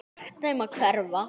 Sagt þeim að hverfa.